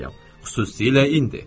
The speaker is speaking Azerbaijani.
Xüsusilə indi.